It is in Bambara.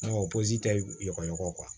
Nka tɛ ɲɔgɔn